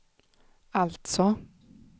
alltså